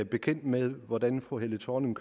bekendt med hvordan fru helle thorning